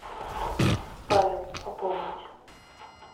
павел пополнить